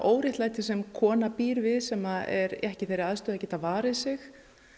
sem kona býr við sem er ekki í þeirri aðstöðu að geta varið sig